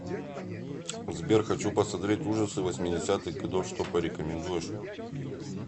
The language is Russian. сбер хочу посмотреть ужасы восьмедесятых годов что порекомендуешь